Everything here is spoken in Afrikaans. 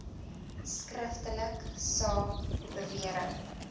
skriftelik saak bewering